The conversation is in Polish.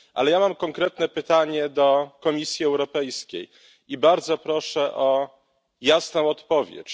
Ale ja mam konkretne pytanie do Komisji Europejskiej i bardzo proszę o jasną odpowiedź.